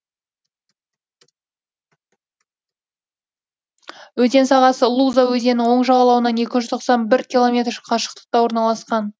өзен сағасы луза өзенінің оң жағалауынан екі жүз тоқсан бір километр қашықтықта орналасқан